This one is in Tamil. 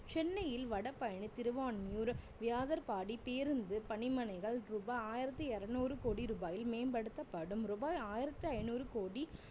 சென்னையில் வடபழனி திருவான்மியூர் வியாசர்பாடி பேருந்து பணி மனைகள் ரூபாய் ஆயிரத்தி இறுநூறு கோடி ரூபாயில் மேம்படுத்தப்படும் ரூபாய் ஆயிரத்தி ஐநூறு கோடி